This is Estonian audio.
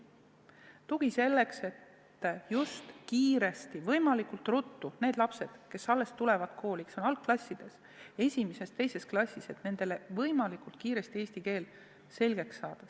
Tuge selleks, et võimalikult ruttu õpetada eesti keel selgeks lastele, kes alles on kooli tulnud, kes on algklassides, esimeses-teises klassis.